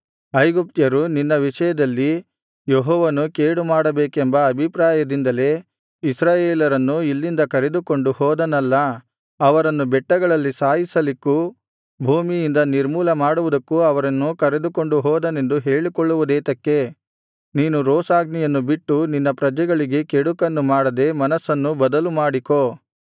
ಐಗುಪ್ತ್ಯರು ನಿನ್ನ ವಿಷಯದಲ್ಲಿ ಯೆಹೋವನು ಕೇಡು ಮಾಡಬೇಕೆಂಬ ಅಭಿಪ್ರಾಯದಿಂದಲೇ ಇಸ್ರಾಯೇಲರನ್ನು ಇಲ್ಲಿಂದ ಕರೆದುಕೊಂಡು ಹೋದನಲ್ಲಾ ಅವರನ್ನು ಬೆಟ್ಟಗಳಲ್ಲಿ ಸಾಯಿಸಲಿಕ್ಕೂ ಭೂಮಿಯಿಂದ ನಿರ್ಮೂಲ ಮಾಡುವುದಕ್ಕೂ ಅವರನ್ನು ಕರೆದುಕೊಂಡು ಹೋದನೆಂದು ಹೇಳಿಕೊಳ್ಳುವುದೇತಕ್ಕೆ ನೀನು ರೋಷಾಗ್ನಿಯನ್ನು ಬಿಟ್ಟು ನಿನ್ನ ಪ್ರಜೆಗಳಿಗೆ ಕೆಡುಕನ್ನು ಮಾಡದೆ ಮನಸ್ಸನ್ನು ಬದಲು ಮಾಡಿಕೋ